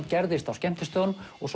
gerðist á skemmtistöðunum og